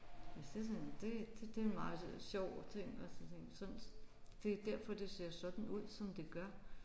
Så det er sådan det det er en meget sådan sjov ting og tænke sådan det er derfor det ser sådan ud som det gør